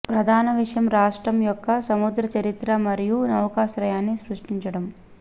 ప్రధాన విషయం రాష్ట్రం యొక్క సముద్ర చరిత్ర మరియు నౌకాశ్రయాన్ని సృష్టించడం